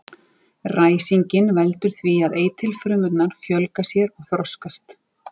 Ræsingin veldur því að eitilfrumurnar fjölga sér og þroskast.